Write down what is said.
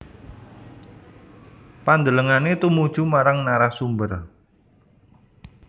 Pandelengane tumuju marang narasumber